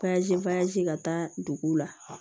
ka taa duguw la